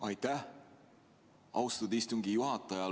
Aitäh, austatud istungi juhataja!